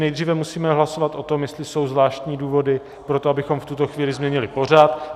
Nejdříve musíme hlasovat o tom, jestli jsou zvláštní důvody pro to, abychom v tuto chvíli změnili pořad.